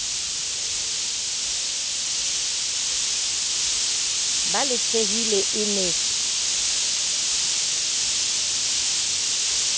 ba le tjhehile e ne